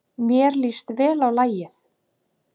Mér líst vel á lagið.